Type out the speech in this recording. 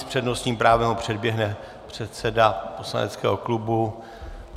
S přednostním právem ho předběhne předseda poslaneckého klubu.